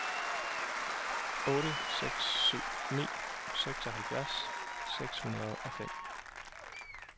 otte seks syv ni seksoghalvfjerds seks hundrede og fem